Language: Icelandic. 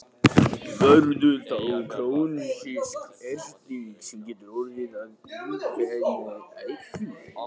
Verður þá krónísk erting sem getur orðið að illkynja æxli.